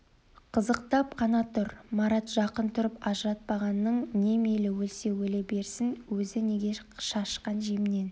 қызықтап қана тұр марат жақын тұрып ажыратпағаның не мейлі өлсе өле берсін өзі неге шашқан жемнен